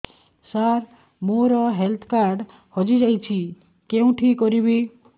ସାର ମୋର health card ହଜି ଯାଇଛି କେଉଁଠି କରିବି